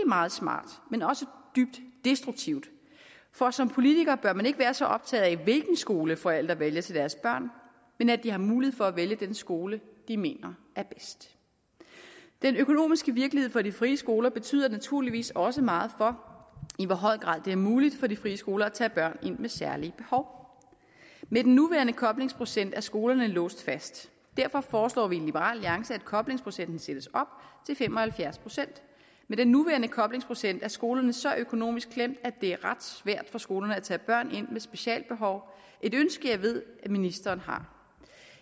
meget smart men også dybt destruktivt for som politiker bør man ikke være så optaget af hvilken skole forældre vælger til deres børn men at de har mulighed for at vælge den skole de mener er bedst den økonomiske virkelighed for de frie skoler betyder naturligvis også meget for i hvor høj grad det er muligt for de frie skoler at tage børn ind med særlige behov med den nuværende koblingsprocent er skolerne låst fast og derfor foreslår vi i liberal alliance at koblingsprocenten sættes op til fem og halvfjerds procent med den nuværende koblingsprocent er skolerne så økonomisk klemt at det er ret svært for skolerne at tage børn ind med specialbehov et ønske jeg ved ministeren har